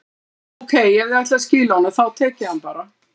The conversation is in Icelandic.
Ókei, ef þið ætlið að skila honum, þá tek ég hann bara.